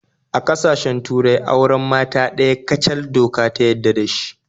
A kasashen turai auren mata ɗaya kacal doka ta yadda da dashi